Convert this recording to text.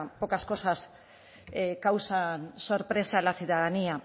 pocas cosas causan sorpresa a la ciudadanía